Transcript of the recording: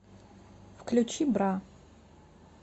включи бра